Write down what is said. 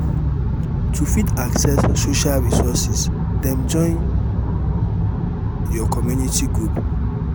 to fit access social resources dem join your community group